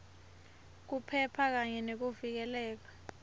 kuphepha kanye nekuvikeleka